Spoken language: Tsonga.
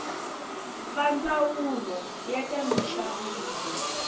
va ndzawulo ya ta minxaviso